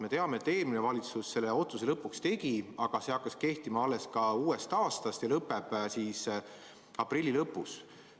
Me teame, et eelmine valitsus selle otsuse lõpuks tegi, aga see kord hakkas kehtima alles uuest aastast ja lõpeb aprilli lõpus.